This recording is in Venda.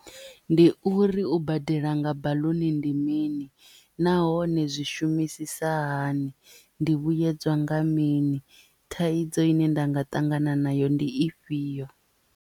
Ndi uri u badela nga baḽuni ndi mini nahone zwi shumisisa hani ndi vhuyedzwa nga mini thaidzo ine nda nga ṱangana nayo ndi ifhio.